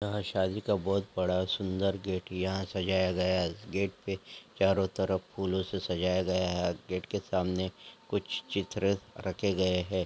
यहां शादी का बहुत बड़ा सुंदर गेट यहां सजाया गया है गेट प चारों तरफ फूलों से सजाया गया है गेट के सामने कुछ चित्र रखे गए हैं।